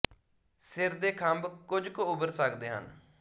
ਸਿਰ ਦੇ ਖੰਭ ਕੁਝ ਕੁ ਉਭਰ ਸਕਦੇ ਹਨ